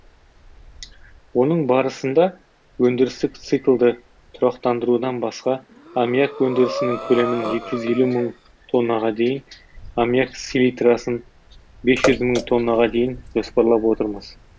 оның барысында өндірістік циклды тұрақтандырудан басқа аммиак өндірісінің көлемін екі жүз елу мың тоннаға дейін аммиак силитрасын бес жүз мың тоннаға дейін жоспарлап отырмыз